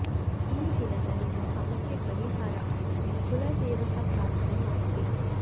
ಈ ದಿನದ ನಿಮ್ಮ ಸಮಸ್ಯೆ ಪರಿಹಾರ ಆಗಲು ಕುಲ ದೇವತಾ ಪ್ರಾರ್ಥನೆ ಮಾಡಿರಿ